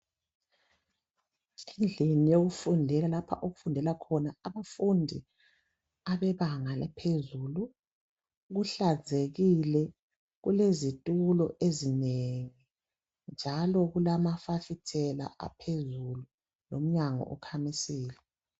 Endlini yokufundela lapha okufundela khona abafundi abebanga laphezulu kuhlanzekile kulezitulo ezinengi njalo kulamafasitela aphezulu lomnyango ukhamisile.